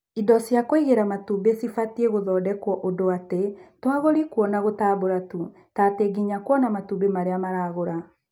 indo cia kũigira matumbĩ cibatie gũthondekwo ũndũ atĩ toagũri kuona gũtambura tu, tatĩ nginya kuona matumbĩ marĩa maragũra.